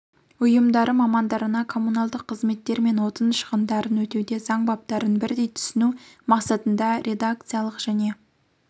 ұйымдары мамандарына коммуналдық қызметтер мен отын шығындарын өтеуде заң баптарын бірдей түсіну мақсатында редакциялық және